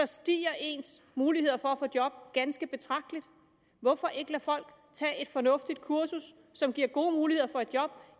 stiger ens muligheder for at få et job ganske betragteligt hvorfor ikke lade folk tage et fornuftigt kursus som giver gode muligheder for et job